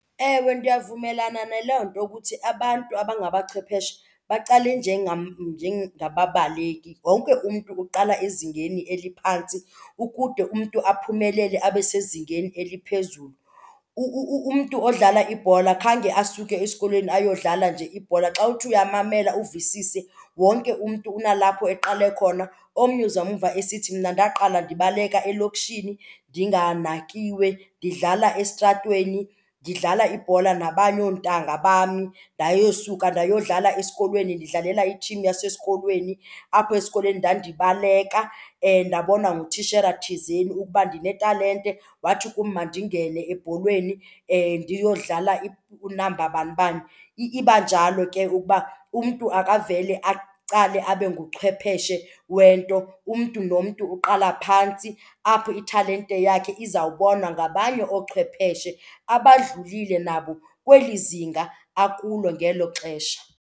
Ewe, ndiyavumelana naloo nto ukuthi abantu abangabachwepheshe baqale njengam njengababaleki. Wonke umntu uqala ezingeni eliphantsi ukude umntu aphumelele abe sezingeni eliphezulu. Umntu odlala ibhola khange asuke esikolweni ayodlala nje ibhola, xa uthi uyamamela uvisise wonke umntu kunalapho eqale khona. Omnye uzamva esithi mna ndaqala ndibaleka elokishini ndinganakiwe ndidlala esitratweni, ndidlala ibhola nabanye oontanga bam. Ndayosuka ndayodlala esikolweni ndidlalela i-team yasesikolweni, apho esikolweni ndandibaleka ndabonwa ngutishala thizeni ukuba ndinetalente wathi kum mandingene ebholweni ndiyodlala unamba banibani. Iba njalo ke ukuba umntu akavele aqale abe nguchwepheshe wento, umntu nomntu uqala phantsi apho italente yakhe izawubonwa ngabanye oochwepheshe abadlulile nabo kweli zinga akulo ngelo xesha.